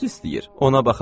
Ona baxa bilmirəm.